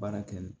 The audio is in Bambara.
Baara kɛ nin